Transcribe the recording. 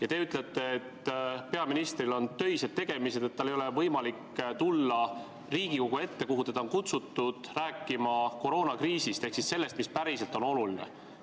Aga teie ütlete, et peaministril on töised tegemised, et tal ei ole võimalik tulla Riigikogu ette, kuhu teda on kutsutud rääkima koroonakriisist ehk sellest, mis on päriselt oluline.